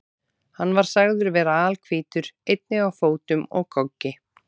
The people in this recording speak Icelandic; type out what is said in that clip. Hann var sagður vera alhvítur, einnig á fótum og goggi.